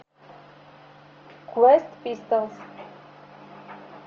квест пистолс